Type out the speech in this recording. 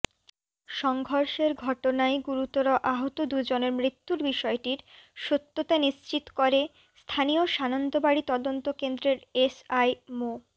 সংঘর্ষের ঘটনায় গুরুতর আহত দুজনের মৃত্যুর বিষয়টির সত্যতা নিশ্চিত করে স্থানীয় সানন্দবাড়ী তদন্তকেন্দ্রের এসআই মো